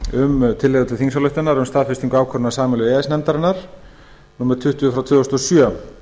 um tillögu til þingsályktunar um staðfestingu ákvörðunar sameiginlegu e e s nefndarinnar númer tuttugu tvö þúsund og sjö